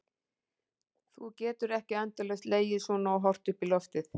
Þú getur ekki endalaust legið svona og horft upp í loftið.